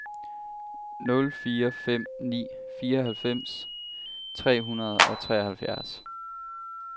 nul fire fem ni fireoghalvfems tre hundrede og treoghalvfjerds